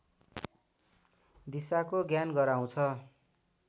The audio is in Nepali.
दिशाको ज्ञान गराउँछ